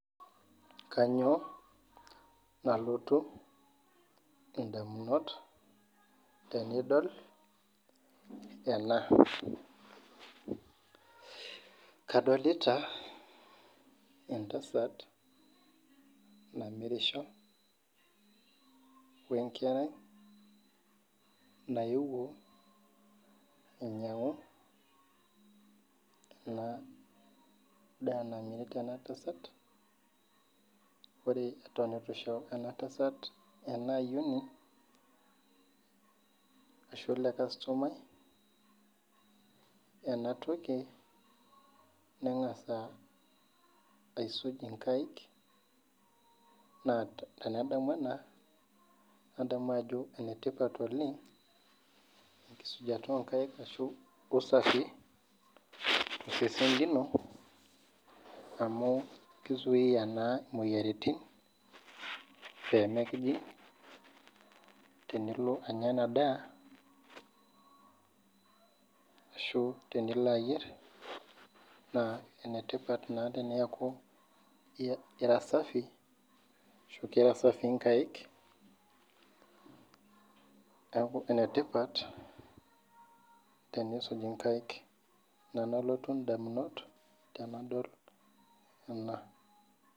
Kanyio nalotu ndamunot tenidol ena kadolita entasat namirisho wenkerai naewuo ainyangu ena daa namirita ena. Tasat ore tan itu isho enatasat enaayioni ashu elekastomai enatoki nengasa aisuj inkaik na tenedamu ena nadamu ajo enetipat enkusujata onkaik ashu ufafi amu kisui na imoyiaritin pemekijing tenilo anya enadaa ashu tenilo ayier na enetipat teneaku ekira safii nkaik neaku enetipat enisuj inkaik ina nalotu ndamunot tenidol ena.